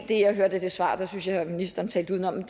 det jeg hørte i det svar der synes jeg at ministeren talte udenom